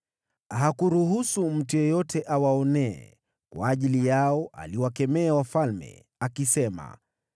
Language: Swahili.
Hakuruhusu mtu yeyote awaonee; kwa ajili yao aliwakemea wafalme, akisema: